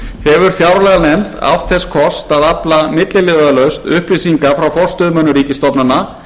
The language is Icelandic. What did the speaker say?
hefur fjárlaganefnd átt þess kost að afla milliliðalaust upplýsinga frá forstöðumönnum ríkisstofnana